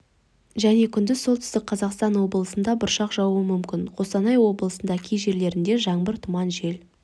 және күндіз солтүстік қазақстан облысында бұршақ жаууы мүмкін қостанай облысында кей жерлерде жаңбыр тұман жел